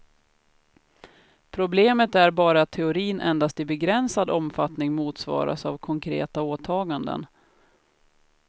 Problemet är bara att teorin endast i begränsad omfattning motsvaras av konkreta åtaganden.